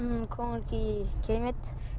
ммм көңіл күй керемет